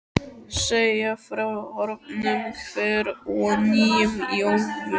segja frá horfnum hver og nýjum í Ölfusi.